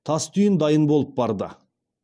тас түйін дайын болып барды